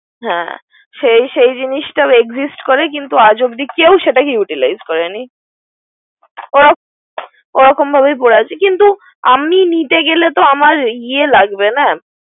না সেই সেই জিনিসটা exist করে কিন্ত আজ অব্দি কেউ সেটাকে utilize করে নি। ক কিন্ত আমি নিজে গেলে তো আমার ইয়া লাগবে না।